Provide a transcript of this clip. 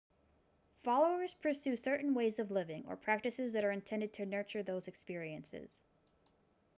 followers pursue certain ways of living or practices that are intended to nurture those experiences